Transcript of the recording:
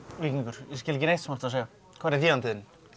víkingur ég skil ekki neitt sem þú ert að segja hvar er þýðandinn